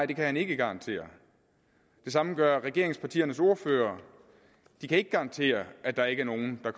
det kan han ikke garantere det samme gør regeringspartiernes ordførere de kan ikke garantere at der ikke er nogen der